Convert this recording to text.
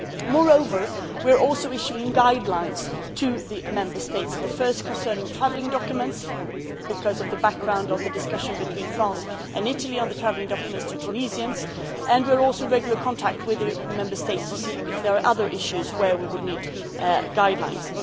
Moreover, we are also issuing guidelines to the Member States, the first concerning travel documents, because of the background of the discussion between France and Italy on the travel documents of Tunisians, and we are also in regular contact with the Member States to see if there are other issues where we would need guidelines.